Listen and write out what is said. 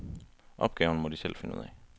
Opgaven må de selv finde ud af.